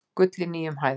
Gull í nýjum hæðum